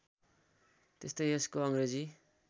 त्यस्तै यसको अङ्ग्रेजी